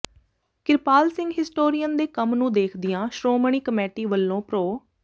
Kirpal Singh historian ਦੇ ਕੰਮ ਨੂੰ ਦੇਖਦਿਆਂ ਸ਼੍ਰੋਮਣੀ ਕਮੇਟੀ ਵਲੋਂ ਪ੍ਰੋ